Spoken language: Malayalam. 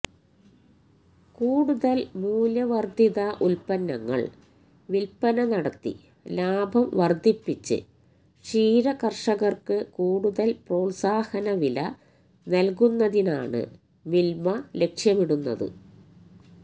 കൂടുതല് മൂല്യവര്ദ്ധിത ഉത്പന്നങ്ങള് വില്പ്പന നടത്തി ലാഭം വര്ദ്ധിപ്പിച്ച് ക്ഷീരകര്ഷകര്ക്ക് കൂടുതല് പ്രോത്സാഹന വില നല്കുന്നതിനാണ് മില്മ ലക്ഷ്യമിടുന്നത്